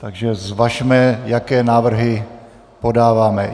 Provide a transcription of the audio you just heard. Takže zvažme, jaké návrhy podáváme.